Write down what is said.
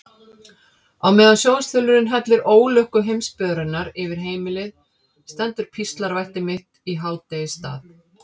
Á meðan sjónvarpsþulurinn hellir ólukku heimsbyggðarinnar yfir heimilið stendur píslarvætti mitt í hádegisstað.